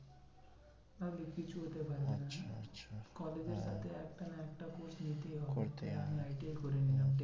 আগে কিছু হতে পারবি না আচ্ছা college এর সাথে একটা না একটা course নিতেই হবে। করতেই হবে। ITI করে নিলাম